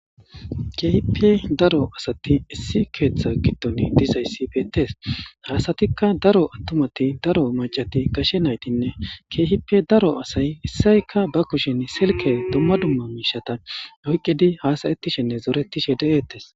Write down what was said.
Kehippe daro asati issi ketha gidon dizaysi betes Ha asatika daro attumati daro mac'ati gashe naytine kehippe daro asay issayka ba kushen Silke dumma dumma misheta oykidi hasayishe zorettishe de'etes